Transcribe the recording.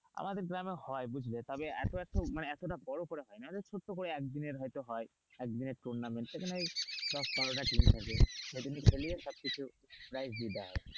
আমাদের গ্রামে হয় বুঝলে তবে এত এত এতটা বড় করা হয় না মানে ছোটো করে একদিনের হয়তো হয় টুর্নামেন্ট সবকিছু prize দিয়ে দেয়,